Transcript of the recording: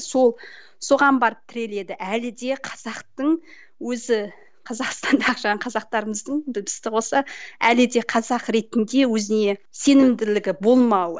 сол соған барып тіреледі әлі де қазақтың өзі қазақстандағы жаңағы қазақтарымыздың әлі де қазақ ретінде өзіне сенімділігі болмауы